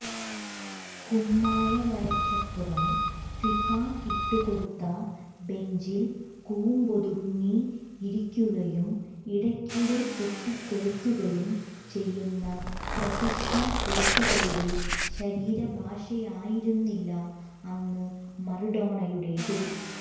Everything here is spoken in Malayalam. കുമ്മായവരയ്ക്കപ്പുറം ഫിഫ ഇട്ടുകൊടുത്ത ബെഞ്ചിൽ കൂമ്പൊതുങ്ങിയിരിക്കുകയും ഇടയ്ക്കിടെ പൊട്ടിത്തെറിക്കുകയും ചെയ്യുന്ന പ്രൊഫഷണൽ കോച്ചുകളുടെ ശരീരഭാഷയായിരുന്നില്ല അന്ന് മാറഡോണയുടേത്